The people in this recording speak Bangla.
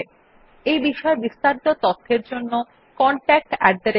এই বিষয় বিস্তারিত তথ্যের জন্য contactspoken tutorialorg তে ইমেল করুন